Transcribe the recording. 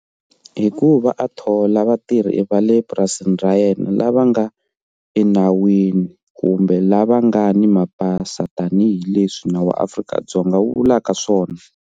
Hikuva a thola vatirhi va le purasini ra yena lava nga enawini kumbe lava nga ni mapasi tanihileswi nawu wa Afrika-Dzonga wu vulaka swona.